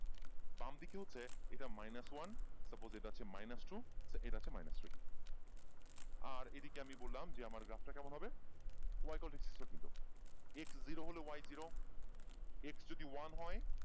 বাম দিকে হচ্ছে এইটা মাইনাস ওয়ান তারপরে আছে মাইনাস টু এইটা হচ্ছে মাইনাস থ্রী